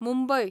Mumbai